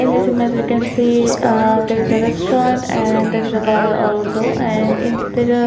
In this image we can see a there is a restaurant and there is a bar also and in --